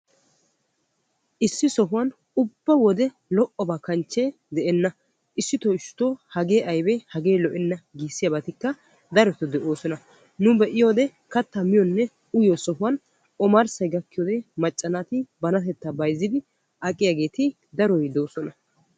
Issi sohuwan ubba wode lo'obba kanchche de'enna issitto issitto hagee aybbe hagee lo'enna giissiyabattikka darotto de'ossonna nu be'iyoode katta miyonne uyiyo sohuwan omarssay gakkiyoode macca banatetta bayzziddi aqqiyaagetti darotti de'osonna.